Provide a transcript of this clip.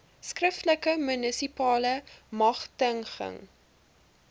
skriftelike munisipale magtiging